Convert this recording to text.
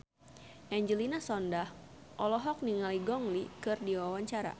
Angelina Sondakh olohok ningali Gong Li keur diwawancara